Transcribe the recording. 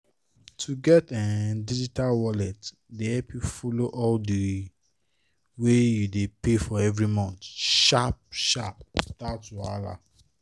to get um digital wallet dey help you follow all the wey you dey pay for every month sharp-sharp without wahala